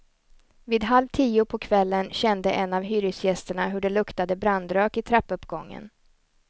Vid halv tio på kvällen kände en av hyresgästerna hur det luktade brandrök i trappuppgången.